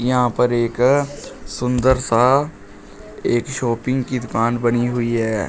यहां पर एक सुंदर सा एक शॉपिंग की दुकान बनी हुई है।